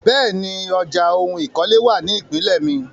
Bẹ́ẹ̀ni, ọjà oun ìkọ́lé wà ní ìpínlè mi.